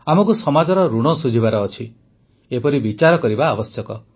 ଆମକୁ ସମାଜର ଋଣ ଶୁଝିବାର ଅଛି ଏପରି ବିଚାର କରିବା ଆବଶ୍ୟକ